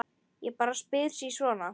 Ég bara spyr sí svona.